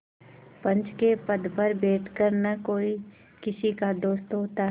पंच के पद पर बैठ कर न कोई किसी का दोस्त होता है